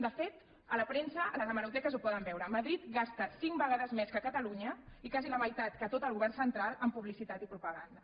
de fet a la premsa a les hemeroteques ho poden veure madrid gasta cinc vegades més que catalunya i quasi la meitat que tot el govern central en publicitat i propaganda